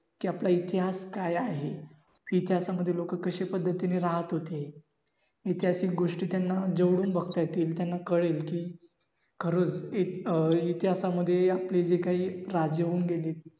कि आत्ता इतिहास काय आहे. इतिहासामध्ये लोक कसे पद्धतीने रहात होते. ऐतिहासिक गोष्टी त्यांना जवळून बगता येतील त्यांना कळेल कि खरंच अं इतिहासामध्ये आपले जे काही राजे होऊन गेले.